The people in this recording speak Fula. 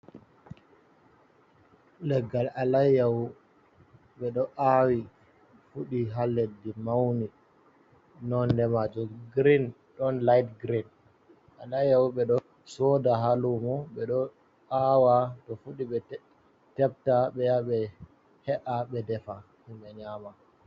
Leggal alayyaho, ɓe ɗo aawi fuɗi haa leɗɗi, mauni nonde maajum girin, ɗon lait girin, alayyaho ɓe ɗo sooda haa luumo, ɓe ɗo aawa to fuɗi ɓe tepta ɓe ya ɓe he’a, ɓe defa himɓe nyama.